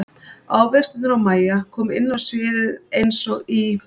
Ávextirnir og Mæja koma inn á sviðið eins og í